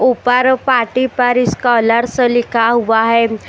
ऊपर पार्टी पर स्कॉलर्स लिखा हुआ है।